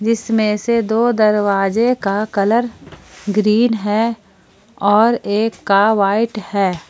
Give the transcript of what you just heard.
इसमें से दो दरवाजे का कलर ग्रीन है और एक का वाइट है।